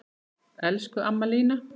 Elsku amma Lína.